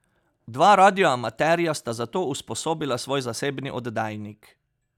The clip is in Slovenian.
Dva radioamaterja sta za to usposobila svoj zasebni oddajnik.